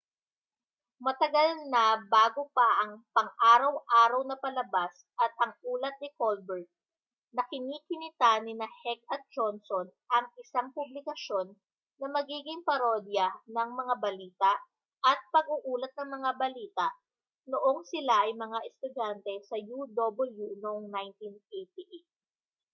matagal na bago pa ang pang-araw-araw na palabas at ang ulat ni colbert nakini-kinita nina heck at johnson ang isang publikasyon na magiging parodya ng mga balita—at pag-uulat ng mga balita—noong sila ay mga estudyante sa uw noong 1988